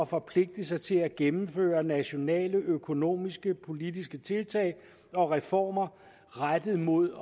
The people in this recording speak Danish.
forpligte sig til at gennemføre nationale økonomiske og politiske tiltag og reformer rettet mod